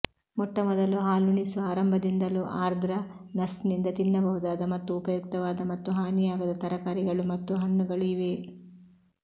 ಮೊಟ್ಟಮೊದಲು ಹಾಲುಣಿಸುವ ಆರಂಭದಿಂದಲೂ ಆರ್ದ್ರ ನರ್ಸ್ನಿಂದ ತಿನ್ನಬಹುದಾದ ಮತ್ತು ಉಪಯುಕ್ತವಾದ ಮತ್ತು ಹಾನಿಯಾಗದ ತರಕಾರಿಗಳು ಮತ್ತು ಹಣ್ಣುಗಳು ಇವೆ